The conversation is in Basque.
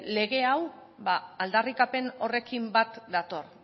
lege hau aldarrikapen horrekin bat dator